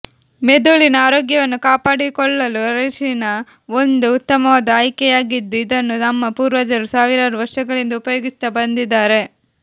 ಮೆದುಳಿನ ಆರೋಗ್ಯವನ್ನು ಕಾಪಾಡಿಕೊಳ್ಳಲು ಅರಿಶಿನ ಒಂದು ಉತ್ತಮವಾದ ಆಯ್ಕೆಯಾಗಿದ್ದು ಇದನ್ನು ನಮ್ಮ ಪೂರ್ವಜರು ಸಾವಿರಾರು ವರ್ಷಗಳಿಂದ ಉಪಯೋಗಿಸುತ್ತಾ ಬಂದಿದ್ದಾರೆ